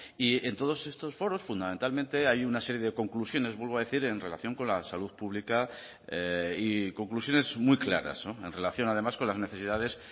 y en todos estos foros fundamentalmente hay una serie de conclusiones vuelvo a decir en relación con la salud pública y conclusiones muy claras en relación además con las necesidades